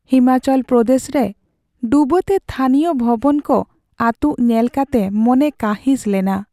ᱦᱤᱢᱟᱪᱚᱞ ᱯᱨᱚᱫᱮᱥᱨᱮ ᱰᱩᱵᱟᱹᱛᱮ ᱛᱷᱟᱹᱱᱤᱭᱚ ᱵᱷᱚᱵᱚᱱ ᱠᱚ ᱟᱹᱛᱩᱜ ᱧᱮᱞ ᱠᱟᱛᱮ ᱢᱚᱱᱮ ᱠᱟᱹᱦᱤᱥ ᱞᱮᱱᱟ ᱾